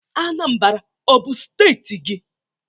Anambra ọ bụ steeti gị?